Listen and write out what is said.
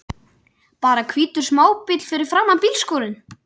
Bara hvítur smábíll fyrir framan bílskúrinn!